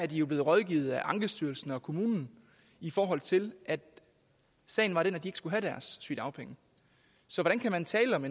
de jo blevet rådgivet af ankestyrelsen og kommunen i forhold til at sagen var den at de skulle have deres sygedagpenge så hvordan kan man tale om